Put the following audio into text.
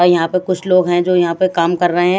अ यहां पे कुछ लोग हैं जो यहां पे काम कर रहे--